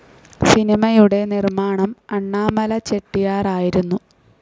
സിനിമയുടെ നിർമ്മാണം അണ്ണാമല ചെട്ടിയാർ ആയിരുന്നു.